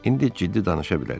İndi ciddi danışa bilərik.